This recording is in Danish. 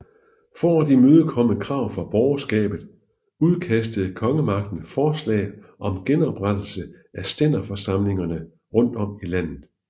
For at imødekomme krav fra borgerskabet udkastede kongemagten forslag om genoprettelse af stænderforsamlingerne rundt om i landet